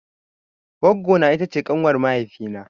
Goggo na ita ce ƙanwar mahaifi na.